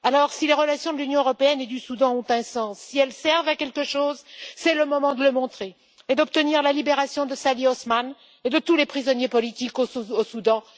Si les relations entre l'Union européenne et le Soudan ont un sens, si elles servent à quelque chose, c'est le moment de le montrer et d'obtenir la libération de Salih Osman et de tous les prisonniers politiques au Soudan.